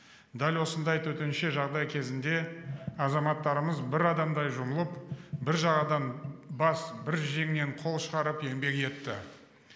дәл осындай төтенше жағдай кезінде азаматтарымыз бір адамдай жұмылып бір жағадан бас бір жеңнен қол шығарып еңбек етті